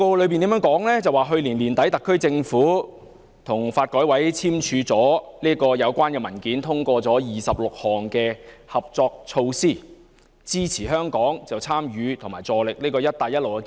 施政報告指出，去年年底，特區政府與國家發展和改革委員會簽署了有關文件，通過26項合作措施，支持香港參與及助力"一帶一路"建設。